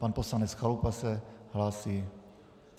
Pan poslanec Chalupa se hlásí.